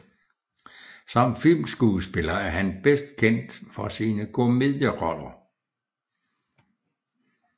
Som filmskuespiller er han bedst kendt for sine komedieroller